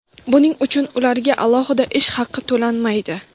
buning uchun ularga alohida ish haqi to‘lanmaydi.